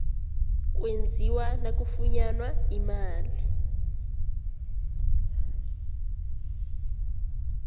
kwenziwa nakufunyanwa imali